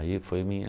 Aí foi minha...